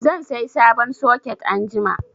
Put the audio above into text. Zan sai sabon soket anjima.